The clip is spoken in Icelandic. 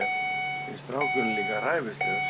Finnst strákurinn líka ræfilslegur.